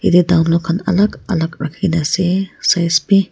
etia Dunlop khan Alag alag rakhi ke na ase size bhi.